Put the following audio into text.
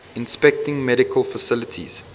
inspecting medical facilities